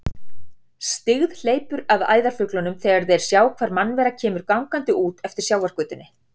Styggð hleypur að æðarfuglunum þegar þeir sjá hvar mannvera kemur gangandi út eftir sjávargötunni.